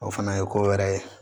O fana ye ko wɛrɛ ye